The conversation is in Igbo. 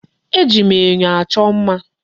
E ji enyo achọ mma.